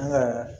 An ka